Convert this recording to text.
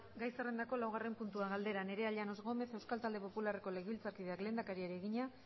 gai zerrendako laugarren puntua galdera nerea llanos gómez euskal talde popularreko legebiltzarkideak lehendakariari egina